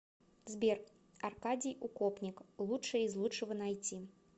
сбер аркадий укопник лучшее из лучшего найти